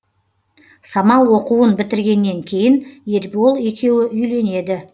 самал оқуын бітіргеннен кейін ербол екеуі үйленеді